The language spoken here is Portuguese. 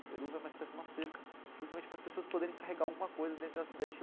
Eruv é uma espécie de uma cerca, justamente para as pessoas poderem carregar alguma coisa dentro da da